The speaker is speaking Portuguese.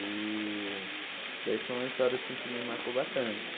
E daí foi uma história assim que me marcou bastante.